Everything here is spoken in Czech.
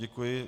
Děkuji.